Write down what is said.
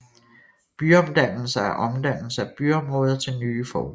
Byomdannelse er omdannelse af byområder til nye formål